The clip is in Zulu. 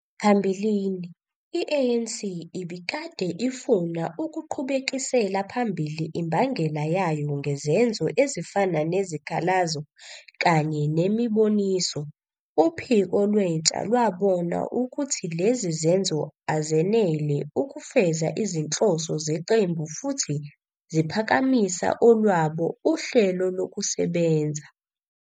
Phambilini, i-ANC ibikade ifuna ukuqhubekisela phambili imbangela yayo ngezenzo ezifana nezikhalazo kanye nemiboniso, Uphiko lwentsha lwabona ukuthi lezi zenzo azenele ukufeza izinhloso zeqembu futhi ziphakamisa olwabo "uHlelo Lokusebenza".